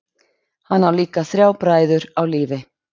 Hann á líka þrjá bræður á lífi.